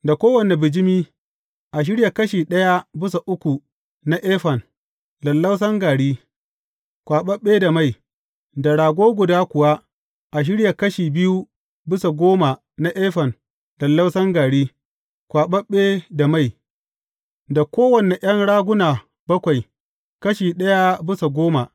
Da kowane bijimi, a shirya kashi ɗaya bisa uku na efan lallausan gari, kwaɓaɓɓe da mai; da rago guda kuwa, a shirya kashi biyu bisa goma na efan lallausan gari, kwaɓaɓɓe da mai; da kowane ’yan raguna bakwai, kashi ɗaya bisa goma.